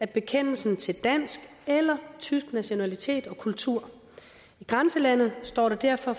bekende sig til dansk eller tysk nationalitet og kultur i grænselandet står det derfor